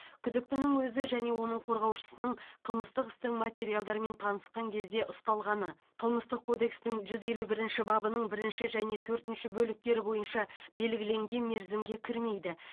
күдіктінің өзі және оның қорғаушысының қылмыстық істің материалдарымен танысқан кезде ұсталғаны қылмыстық кодекстің жүз елу бірінші бабының бірінші және төртінші бөліктері бойынша белгіленген мерзімге кірмейді